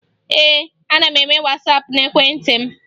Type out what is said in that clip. Ee, ana m eme Wasaapụ n'ekwentị m